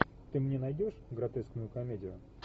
ты мне найдешь гротескную комедию